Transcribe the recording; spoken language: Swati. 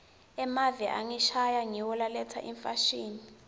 emave angesheya ngiwo laletsa imfashini